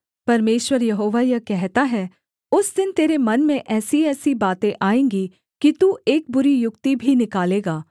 परमेश्वर यहोवा यह कहता है उस दिन तेरे मन में ऐसीऐसी बातें आएँगी कि तू एक बुरी युक्ति भी निकालेगा